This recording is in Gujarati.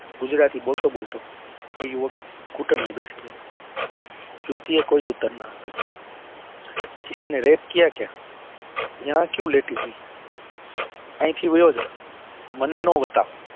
ગુજરાતી બોલતો બોલતો એ યુવકે ઘુતનીયે બેસી ગયો યુવતી એ કોઈ જ ઉત્તર આપ્યો કિસી ને rape કિયા ક્યાં યહા કયું લેટી હો અહી થી વિયો જા મને નાં વાતાવ